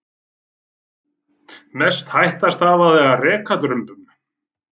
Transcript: Mest hætta stafaði af rekadrumbum.